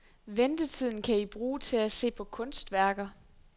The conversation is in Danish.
Ventetiden kan I bruge til at se på kunstværker.